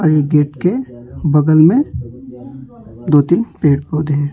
ये गेट के बगल में दो तीन पेड़ पौधे हैं।